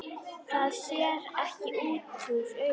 Það sér ekki útúr augum.